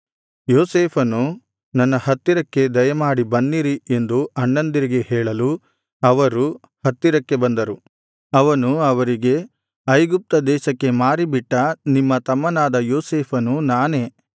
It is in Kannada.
ಯೋಸೇಫನು ನನ್ನ ಹತ್ತಿರಕ್ಕೆ ದಯಮಾಡಿ ಬನ್ನಿರಿ ಎಂದು ಅಣ್ಣಂದಿರಿಗೆ ಹೇಳಲು ಅವರು ಹತ್ತಿರಕ್ಕೆ ಬಂದರು ಅವನು ಅವರಿಗೆ ಐಗುಪ್ತ ದೇಶಕ್ಕೆ ಮಾರಿಬಿಟ್ಟ ನಿಮ್ಮ ತಮ್ಮನಾದ ಯೋಸೇಫನು ನಾನೇ